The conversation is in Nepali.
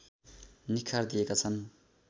निखार दिएका छन्